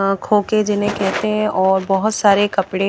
आंखों के जिन्हें कहते है और बहोत सारे कपड़े--